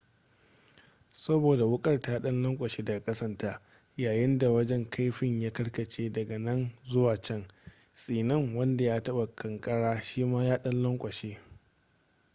saboda wukar ta dan lankwashe daga kasanta yayinda wajen kaifin ya karkace dag nan zuwa can tsinin wanda ya taba kankarar shi ma ya dan lankwashe